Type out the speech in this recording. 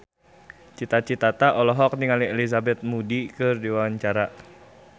Cita Citata olohok ningali Elizabeth Moody keur diwawancara